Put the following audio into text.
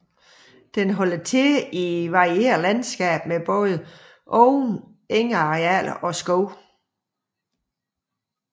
Den holder til i varieret landskab med både åbne engarealer og skove